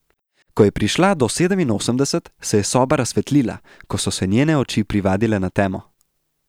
Ko je prišla do sedeminosemdeset, se je soba razsvetlila, ko so se njene oči privadile na temo.